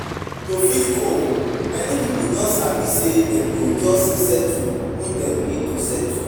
To fit cope, many pipo don sabi sey dem go just settle who dem need to settle